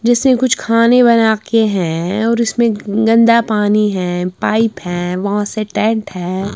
जिससे कुछ खाने बना के हैं और इसमें गंदा पानी है पाइप हैं बहुत से टेंट है।